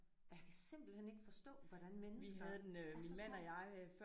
Og jeg kan simpelthen ikke forstå hvordan mennesker er så små